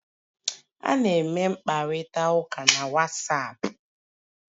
A na-eme mkparịta ụka na Wasapu